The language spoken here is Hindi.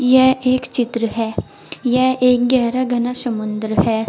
यह एक चित्र है यह एक गहरा घना समुंद्र है।